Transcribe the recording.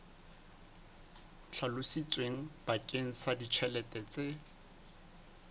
hlalositsweng bakeng sa ditjhelete tse